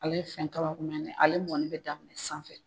Ale fɛn ale mɔni bɛ daminɛ sanfɛ.